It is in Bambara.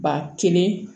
Ba kelen